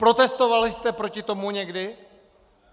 Protestovali jste proti tomu někdy?!